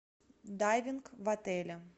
дайвинг в отеле